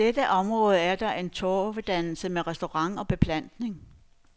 I dette område er der en torvedannelse med restaurant og beplantning.